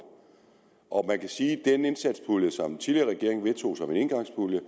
og man kan sige at den indsatspulje som den tidligere regering vedtog som en engangspulje